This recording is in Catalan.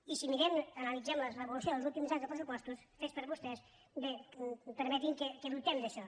i si mirem ana·litzem l’evolució dels últims anys de pressupostos fets per vostès bé permeti’m que dubtem d’això